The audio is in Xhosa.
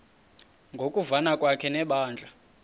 ngokuvana kwakhe nebandla